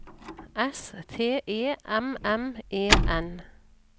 S T E M M E N